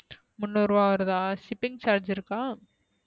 முனூருவா வருதா shipping charge இருக்கா,